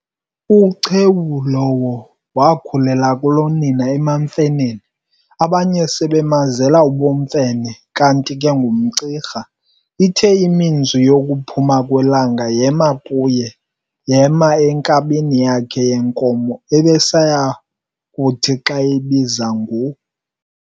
UChewu lowo waakhulela kulonina emaMfeneni, abanye sebemazela ubumfene, kanti ke ngumCirha. Ithe iminzwi yokuphuma kwelanga yema kuye, yema enkabini yakhe yenkomo ebesayakuthi xa eyibiza ngu.